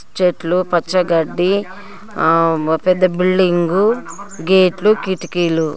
చెట్లు పచ్చగడ్డి ఆ పెద్ద బిల్డింగ్ గేట్లు కిటికీలు--